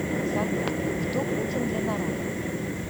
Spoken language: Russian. салют кто путин для народа